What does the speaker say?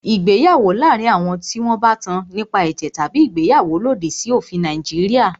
Ìgbéyàwó láàárín àwọn tí wọn bá tán nípa ẹ̀jẹ̀ tabi ìgbéyàwó lòdì sí òfin Nàìjíríà.